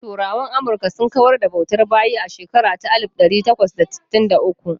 Turawan Amurka sun kawar da bautar bayi a shekara ta alif ɗari takwas da sittin da uku.